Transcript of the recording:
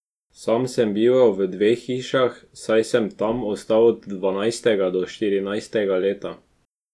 Sam sem bival v dveh hišah, saj sem tam ostal od dvanajstega do štirinajstega leta.